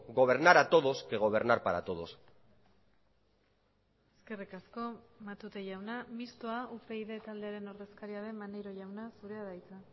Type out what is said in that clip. gobernar a todos que gobernar para todos eskerrik asko matute jauna mistoa upyd taldearen ordezkaria den maneiro jauna zurea da hitza